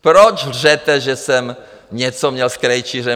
Proč lžete, že jsem něco měl s Krejčířem?